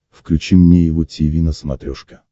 включи мне его тиви на смотрешке